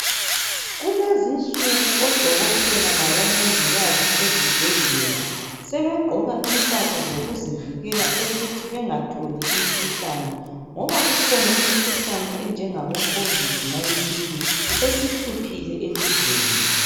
Kulezinsuku odokotela labomongikazi ezibhedlela, sebegqoka impahla zokuzivikela ukuthi bengatholi imikhuhlane ngoba kukhona imikhuhlane enjengaboCovid 19 esihluphile elizweni.